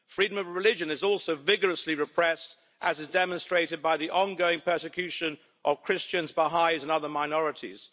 Freedom of religion is also vigorously repressed, as is demonstrated by the ongoing persecution of Christians, Baha'is and other minorities.